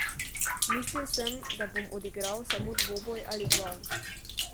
Mislil sem, da bom odigral samo dvoboj ali dva.